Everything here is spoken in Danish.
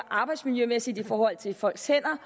arbejdsmiljømæssigt i forhold til folks hænder